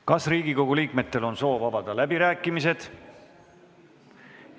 Kas Riigikogu liikmetel on soovi avada läbirääkimised?